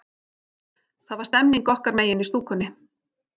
Það var stemning okkar megin í stúkunni.